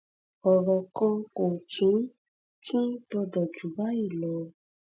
ọrọ kan kò tún tún gbọdọ jù báyì lọ